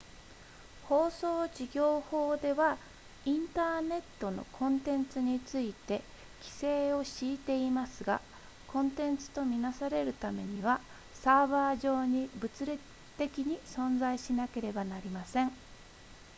放送事業法ではインターネットのコンテンツについて規制を敷いていますがコンテンツと見なされるためにはサーバー上に物理的に存在しなければなりません